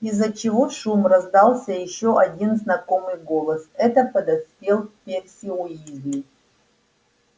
из-за чего шум раздался ещё один знакомый голос это подоспел перси уизли